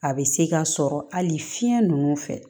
A bɛ se ka sɔrɔ hali fiɲɛ ninnu fɛ